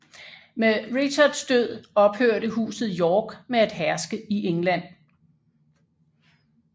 Med Richards død ophørte Huset York med at herske i England